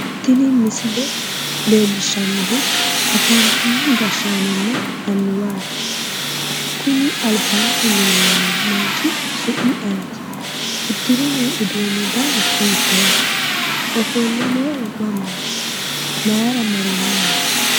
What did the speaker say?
Tini misile leellishshannohu afantino gashshaanonna annuwaati kuni albaanni leellanno manchi su'mi ayeeti uddire noo uduunni dani hiittooho ofolle noohu mamaati mayiira marinowaati